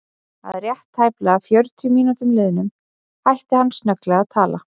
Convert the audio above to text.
Að rétt tæplega fjörutíu mínútum liðnum hætti hann snögglega að tala.